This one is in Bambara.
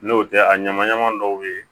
N'o tɛ a ɲama ɲama dɔw ye